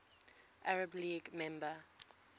arab league member